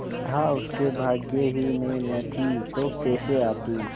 विद्या उसके भाग्य ही में न थी तो कैसे आती